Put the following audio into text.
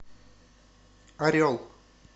орел